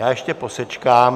Já ještě posečkám...